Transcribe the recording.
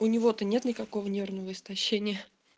у него-то нет никакого нервного истощения